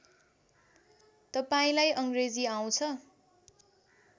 तपाईँलाई अङ्ग्रेजी आउँछ